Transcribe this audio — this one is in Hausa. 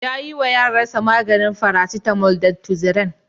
Ya ƴiwa ƴaransa maganin farasitamol da tuziran.